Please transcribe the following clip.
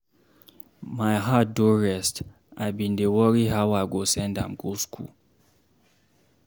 My heart don rest, I bin dey worry how I go send am go school.